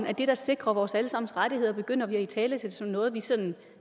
at det der sikrer vores alle sammens rettigheder begynder vi at italesætte som noget vi sådan